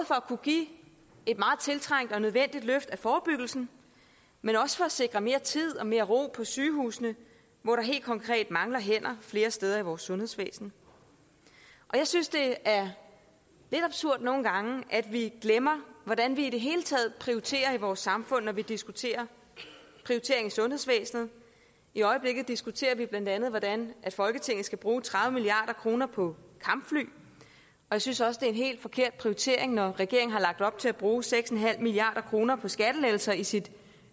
kunne give et meget tiltrængt og nødvendigt løft af forebyggelsen men også for at sikre mere tid og mere ro på sygehusene hvor der helt konkret mangler hænder flere steder i vores sundhedsvæsen jeg synes det er lidt absurd nogle gange at vi glemmer hvordan vi i det hele taget prioriterer i vores samfund når vi diskuterer prioritering i sundhedsvæsenet i øjeblikket diskuterer vi bla hvordan folketinget skal bruge tredive milliard kroner på kampfly jeg synes også det er en helt forkert prioritering når regeringen har lagt op til at bruge seks milliard kroner på skattelettelser i sit